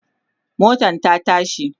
motan ta tashi